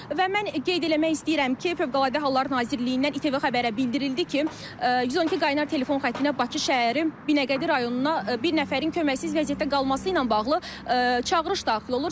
Və mən qeyd eləmək istəyirəm ki, Fövqəladə Hallar Nazirliyindən İTV xəbərlərə bildirildi ki, 112 qaynar telefon xəttinə Bakı şəhəri Binəqədi rayonuna bir nəfərin köməksiz vəziyyətdə qalması ilə bağlı çağırış daxil olur.